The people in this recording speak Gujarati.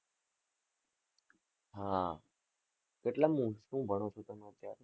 હા કેટલા મું શું ભણો છો તમે અત્યારે?